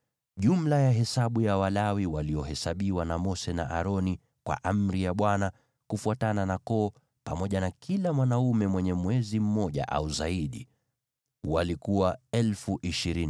Jumla ya hesabu ya Walawi waliohesabiwa na Mose na Aroni kwa amri ya Bwana , kufuatana na koo, pamoja na kila mume mwenye umri wa mwezi mmoja au zaidi, walikuwa 22,000.